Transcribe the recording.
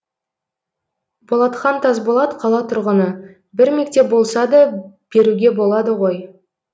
болатхан тасболат қала тұрғыны бір мектеп болса да беруге болады ғой